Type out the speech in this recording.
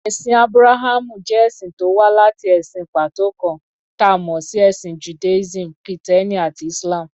Ẹ̀sìn Ábúráhámù jẹ́ ẹ̀sìn tó wá láti ẹ̀sìn pàtó kan, ta mọ̀ sí Ẹ̀sìn Judaism, Kìtẹ́ẹ́nì àti Islam.